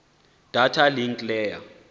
data link layer